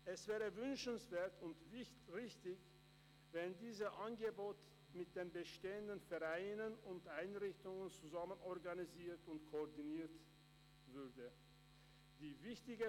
Es wäre wünschenswert und richtig, wenn dieses Angebot mit den bestehenden Vereinen und Einrichtungen zusammen organisiert und koordiniert würde.